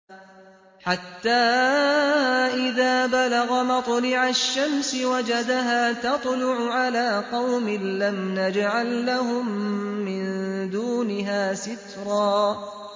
حَتَّىٰ إِذَا بَلَغَ مَطْلِعَ الشَّمْسِ وَجَدَهَا تَطْلُعُ عَلَىٰ قَوْمٍ لَّمْ نَجْعَل لَّهُم مِّن دُونِهَا سِتْرًا